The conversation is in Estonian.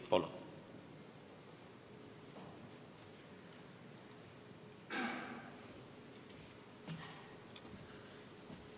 Palun!